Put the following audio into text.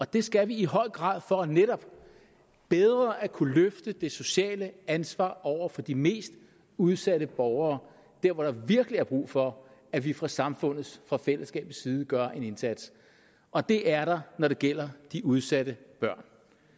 det skal vi i høj grad for netop bedre at kunne løfte det sociale ansvar over for de mest udsatte borgere der hvor der virkelig er brug for at vi fra samfundets fra fællesskabets side gør en indsats og det er der når det gælder de udsatte børn